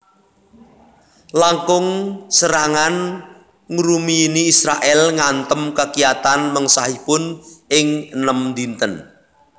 Langkung serangan ngrumiyini Israèl ngantem kakiyatan mengsahipun ing enem dinten